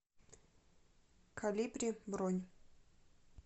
колибри бронь